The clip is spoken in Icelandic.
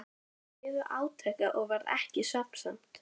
Þeir biðu átekta og varð ekki svefnsamt.